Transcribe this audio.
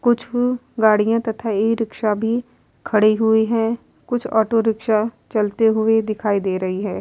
कुछ गाड़ियां तथा ई-रिक्शा भी खड़े हुए है कुछ ऑटो रिक्शा चलते हुए दिखाई दे रहे है।